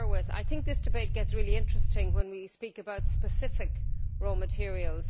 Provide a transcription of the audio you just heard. I think this debate gets really interesting when we speak about specific raw materials.